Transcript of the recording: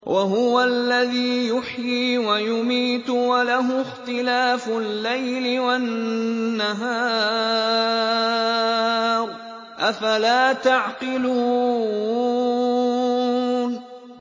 وَهُوَ الَّذِي يُحْيِي وَيُمِيتُ وَلَهُ اخْتِلَافُ اللَّيْلِ وَالنَّهَارِ ۚ أَفَلَا تَعْقِلُونَ